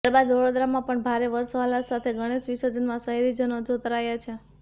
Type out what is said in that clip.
ત્યારે વડોદરામાં પણ ભારે હર્ષોલ્લાસ સાથે ગણેશ વિર્સજનમાં શહેરીજનો જોતરાયા છે